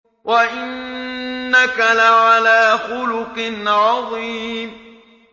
وَإِنَّكَ لَعَلَىٰ خُلُقٍ عَظِيمٍ